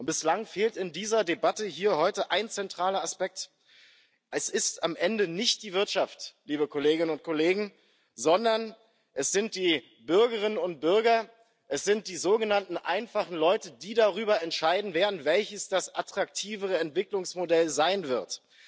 Bislang fehlt in dieser Debatte hier heute ein zentraler Aspekt Es ist am Ende nicht die Wirtschaft, liebe Kolleginnen und Kollegen, sondern es sind die Bürgerinnen und Bürger, es sind die sogenannten einfachen Leute, die darüber entscheiden werden, welches das attraktivere Entwicklungsmodell sein wird.